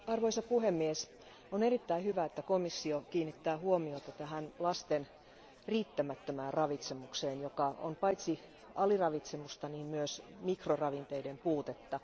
Arvoisa puhemies, on erittäin hyvä, että komissio kiinnittää huomiota lasten riittämättömään ravitsemukseen, joka on paitsi aliravitsemusta, myös mikroravinteiden puutetta.